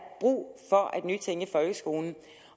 brug for at nytænke folkeskolen